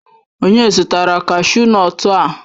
Onye zụtara kashu nọtu a?